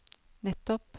nettopp